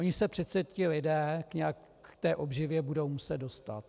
Oni se přece ti lidé nějak k té obživě budou muset dostat.